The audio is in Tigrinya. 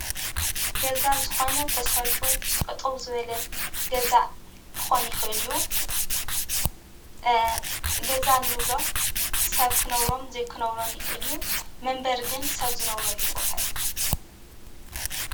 ገዛ ዝኮነ ተሰሪሑ ጠጠው ዝብለ ገዛ ክኮን ይክልእ እዩ፤ ገዛ እንብሎ ሰብ ክነብሮን ዘይክነብሮን ይክእል እዩ፤ መንበሪ ግን ሰብ ዝነብረሉ ቦታ እዩ።